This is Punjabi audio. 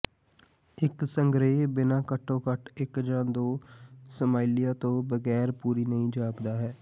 ਇੱਕ ਸੰਗ੍ਰਹਿ ਬਿਨਾਂ ਘੱਟੋ ਘੱਟ ਇੱਕ ਜਾਂ ਦੋ ਸਮਾਈਲੀਆਂ ਤੋਂ ਬਗੈਰ ਪੂਰੀ ਨਹੀਂ ਜਾਪਦਾ ਹੈ